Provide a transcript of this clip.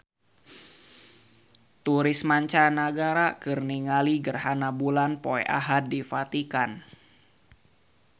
Turis mancanagara keur ningali gerhana bulan poe Ahad di Vatikan